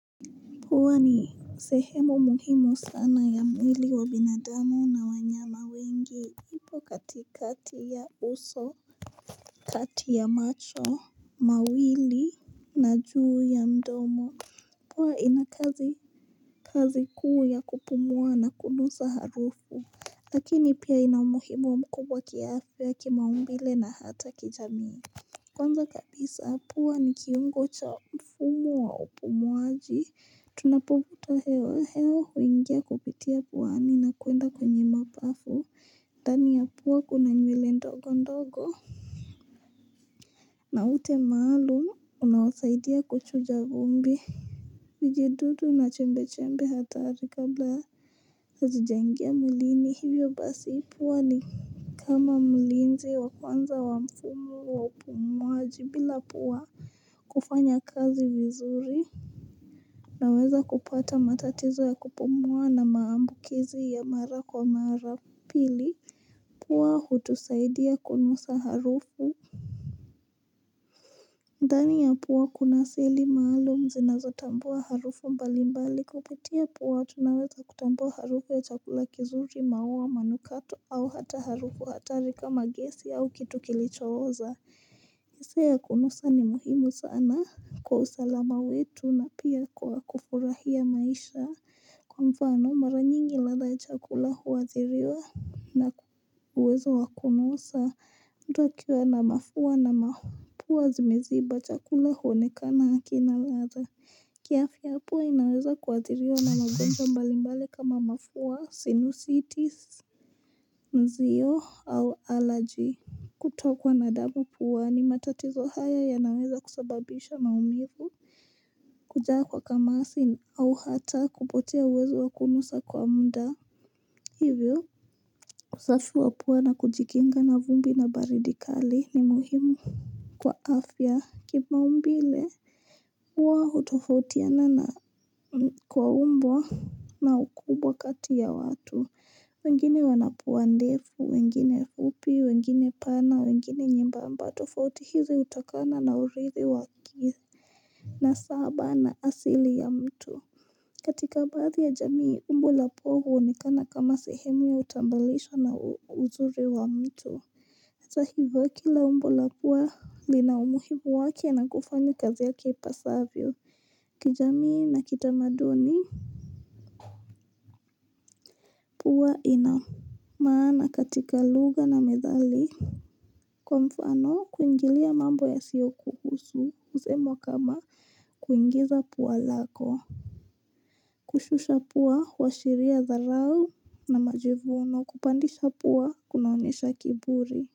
Pua ni sehemu muhimu sana ya mwili wa binadamu na wanyama wengi. Ipo katikati ya uso, kati ya macho, mawili na juu ya mdomo. Pua ina kazi kuu ya kupumua na kunusa harufu. Lakini pia inaumuhimu mkubwa kiaafya ya kimaumbile na hata kijamii. Kwanza kabisa pua ni kiungo cha mfumu wa upumuaji tunapofuta hewa hewa huingia kupitia puani na kuenda kwenye mapafu Dani ya pua kuna nywele ndogo ndogo na utemaalum unawasaidia kuchu jagumbi vijidudu na chembe chembe hatari kabla hazijangia mwilini hivyo basi ipuwa ni kama mlinzi wa kwanza wa mfumo wa upumuaji bila pua kufanya kazi vizzuri Naweza kupata matatizo ya kupumua na maambukizi ya mara kwa mara pili Pua hutusaidia kunusa harufu ndani ya pua kuna sili maalum zinazotambua harufu mbali mbali kupitia puwa tunaweza kutambua harufu ya chakula kizuri maua manukato au hata harufu hatari kama gesi au kitu kilichoza Nisea kunusa ni muhimu sana kwa usalama wetu na pia kwa kufurahia maisha. Kwa mfano mara nyingi ladha ya chakula huwadhiriwa na uwezo wa kunusa. Mtu akiwa na mafua na mafua zimeziba chakula huonekana hakina lada. Kiafya pua inaweza kuwadhiriwa na magonja mbalimbali kama mafua, sinusitis, mzio au allergy. Kutokwa na damu puani matatizo haya yanaweza kusababisha maumivu Kujaa kwa kamasi au hata kupotea uwezo wa kunusa kwa mda Hivyo usafi wa pua na kujikinga na vumbi na baridi kali ni muhimu Kwa afya kimaumbile Uwa utofautiana na kwa umbo na ukubwa kati ya watu wengine wanapua ndefu, wengine fupi, wengine pana, wengine nyembamba tofauti hizi utakana na urithi wa kithi na saba na asili ya mtu katika baadhi ya jamii, umbo la pofu huonikana kama sehemu ya utambalisha na uzuri wa mtu hata hivo kila umbo la pua lina umuhimu wake na kufanya kazi yake ipasavyo kijamii na kitamaduni Pua ina maana katika lugha na methali Kwa mfano kuingilia mambo yasio kuhusu usemwa kama kuingiza pua lako Kushusha pua huashiria dharau na majivuno kupandisha pua kunaonesha kiburi.